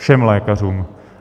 Všem lékařům.